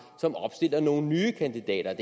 som opstiller nogle nye kandidater